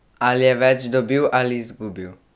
Ali je več dobil ali izgubil?